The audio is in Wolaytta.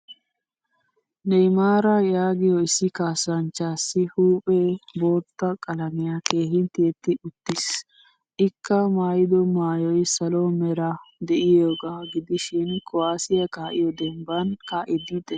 Neymaara yaagiyo issi kasanchchassi huuphphe bootta qalamiyan keehin tiyetti uttiis. Ikka maayido maayoy salo meray de'iyoga gidishin kuwasiyaa ka'iyo demban ka'idi de'ees.